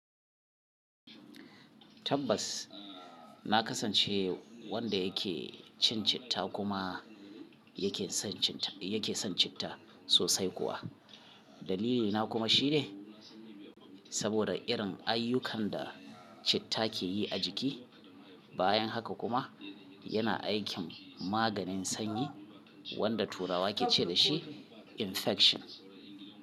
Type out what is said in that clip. Tabbas na kasance wanda yake cin citta kuma yake son citta sosai kuwa. Dalilina kuma shine saboda irin ayyukan da citta ke yi a jiki. Bayan haka kuma yana aikin maganin sanyi wanda turawa ke ce da shi infection.